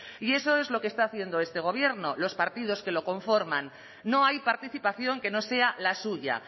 y eso es lo que está haciendo este gobierno los partidos que lo conforman no hay participación que no sea la suya